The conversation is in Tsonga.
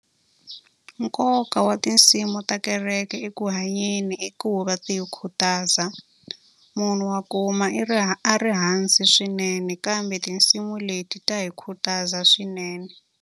Nkoka wa tinsimu ta kereke eku hanyeni i ku va ti hi khutaza. Munhu wa kuma i ri ri hansi swinene kambe tinsimu leti ta hi khutaza swinene.